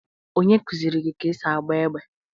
Onye kuziri gi ka esi agba égbè?